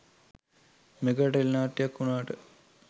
mega tele නාට්‍යයක් වුණාට